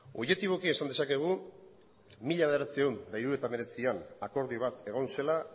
objetiboki esan dezakegu mila bederatziehun eta hirurogeita hemeretzian akordio bat egon zela